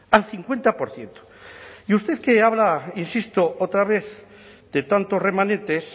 al cincuenta por ciento y usted que habla insisto otra vez de tanto remanentes